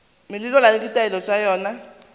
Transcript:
melawana le ditaelo tša yona